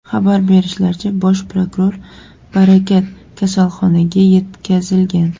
Xabar berishlaricha, bosh prokuror Barakat kasalxonaga yetkazilgan.